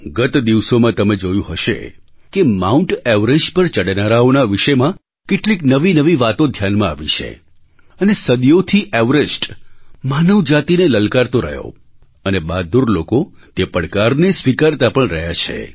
ગત દિવસોમાં તમે જોયું હશે કે માઉન્ટ ઍવરેસ્ટ પર ચડનારાઓના વિષયમાં કેટલીક નવીનવી વાતો ધ્યાનમાં આવી છે અને સદીઓથી એવરેસ્ટ માનવ જાતિને લલકારતો રહ્યો અને બહાદુર લોકો તે પડકારને સ્વીકારતા પણ રહ્યા છે